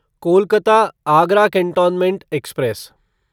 Kolkata Agra cantonment express